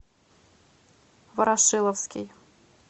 ворошиловский